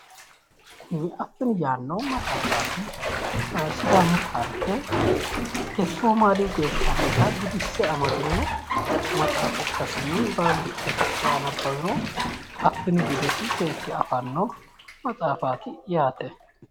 Kuni affini yaanno maxaafaati. Sidaamu taarike iske somaliyu geeshsha harita gudisse amadino maxaafa ikkasinni baalu hidhe kae anabbawiro affini budesi seekke afanno maxaafaati yaate.